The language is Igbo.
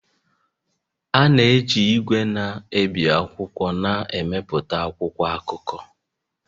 A na-eji igwe na-ebi akwụkwọ na-emepụta akwụkwọ akụkọ